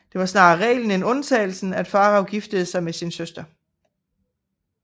Det var snarere reglen end undtagelsen at farao giftede sig med sin søster